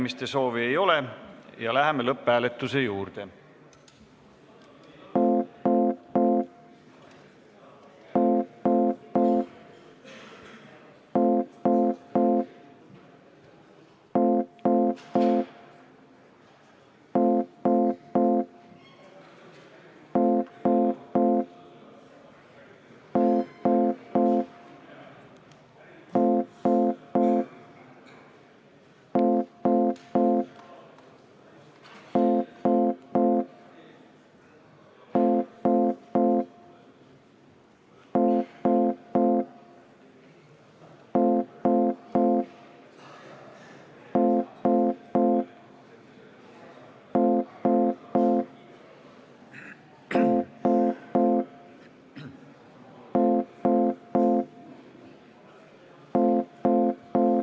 Kõnesoove ei ole, läheme lõpphääletuse juurde.